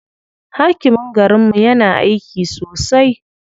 Hakimin garinmu yana aiki sosai.